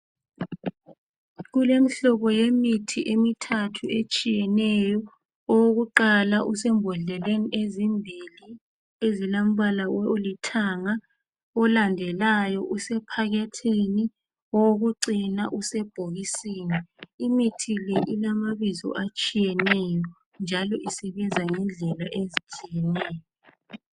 Kulemihlobo yemithi emithathu etshiyeneyo. Owokuqala usembodleleni ezimbili ezilombala olithanga. Olandelayo usephakethini. Owokucina usebhokisini. Imithi le ilamabizo atshiyeneyo njalo isebenza ngendlela ezitshiyeneyo.